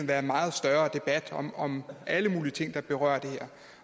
være en meget større debat om om alle mulige ting der berører det her